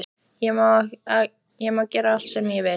Ég má gera allt sem ég vil.